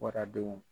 Waradenw